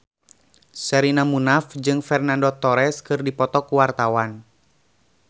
Sherina Munaf jeung Fernando Torres keur dipoto ku wartawan